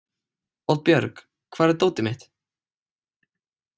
Oddbjörg, hvar er dótið mitt?